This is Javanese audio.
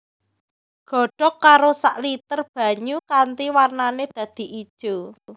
Godhog karo sak liter banyu kanthi warnané dadi ijo